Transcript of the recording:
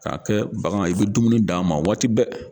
K'a kɛ bagan i bɛ dumuni d'a ma waati bɛɛ.